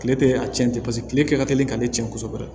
Kile tɛ a tiɲɛ tɛ paseke kile kɛ ka teli k'ale tiɲɛ kosɛbɛ